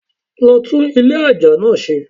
Lo tún Ilé aja náa se